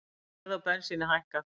Verð á bensíni hækkað